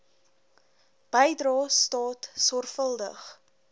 bydrae staat sorgvuldig